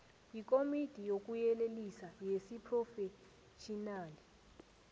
yikomiti yokuyelelisa yesiphrofetjhinali